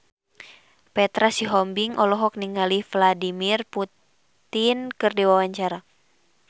Petra Sihombing olohok ningali Vladimir Putin keur diwawancara